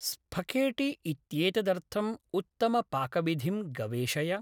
स्पखेठी इत्येददर्थम् उत्तमपाकविधिं गवेषय